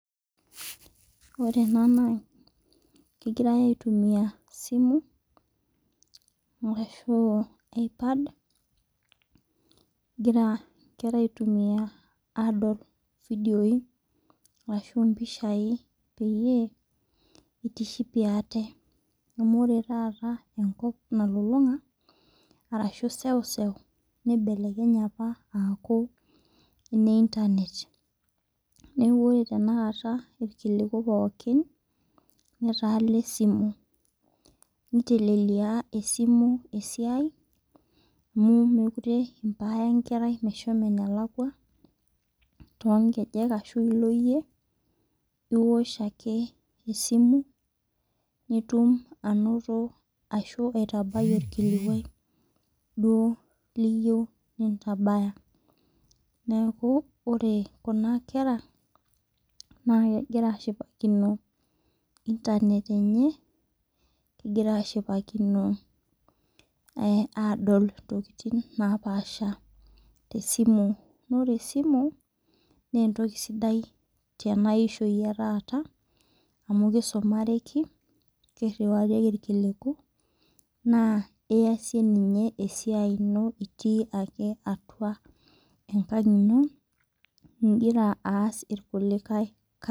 Ore ena naa kegirai aitumia simu arashu ipad egira inkera aitumia adol ivideon arashu impishai peyie itishipie aate amu ore taata enkop nalolong'a arashu seuseu nibelekenye apa aaku ene internet neeku ore tenakata neetaa ene esimu .iltelelia esimu esiai amu mekure impaya enkerai meshomo enalakua too nkejek ashu ilo iyie anoto arashu aitabai orkulae duo liyou duo nintabaya neeku ore kuna kera naa naa kegira ashipaki noo internet kegira ashipakino adol intokitin naapasha te esimu tena ishou ee taa amu kisumaraki naa iyasie ake eais